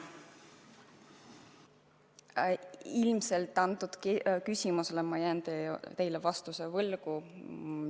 Vastuse sellele küsimusele ma jään võlgu.